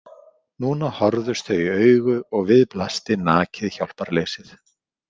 Núna horfðust þau í augu og við blasti nakið hjálparleysið.